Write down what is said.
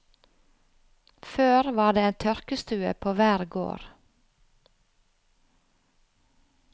Før var det en tørkestue på hver gård.